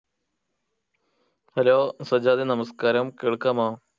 Hello സജ്ജാദെ നമസ്കാരം കേൾക്കാമോ